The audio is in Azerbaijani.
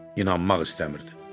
İnanmaq istəmirdi.